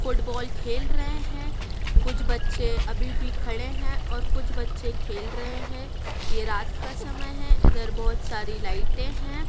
Football खेल रहे हैं कुछ बच्चे अभी भी खड़े हैं और कुछ बच्चे खेल रहे हैं ये रात का समय है इधर बहोत सारी लाइटें हैं।